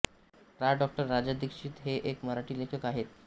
प्रा डाॅ राजा दीक्षित हे एक मराठी लेखक आहेत